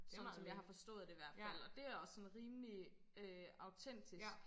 Sådan som jeg har forstået det i hvert fald og det er også sådan rimelig øh autentisk